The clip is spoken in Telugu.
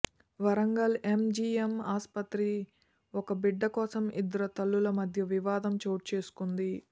వరంగల్ ఎంజీఎం ఆస్పత్రి ఒక బిడ్డ కోసం ఇద్దరు తల్లుల మధ్య వివాదం చోటు చేసుకుంది